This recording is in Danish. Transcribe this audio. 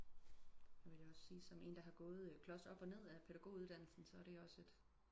Det vil jeg også sige som en der har gået klods op og ned af pædagog uddannelsen så er det også et